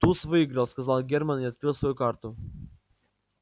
туз выиграл сказал германн и открыл свою карту